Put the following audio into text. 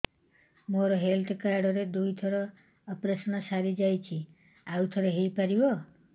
ମୋର health card ରେ ଦୁଇ ଥର ଅପେରସନ ସାରି ଯାଇଛି ଆଉ ଥର ହେଇପାରିବ